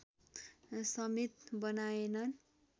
समेत बनाएनन्